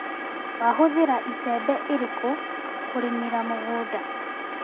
Wahũthĩra icembe irĩkũ kũrĩmĩra mũgũnda.